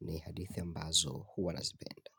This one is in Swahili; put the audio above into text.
ni hadithi ambazo huwa nazipenda.